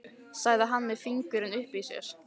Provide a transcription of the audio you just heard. sagði hann með fingurinn uppi í sér.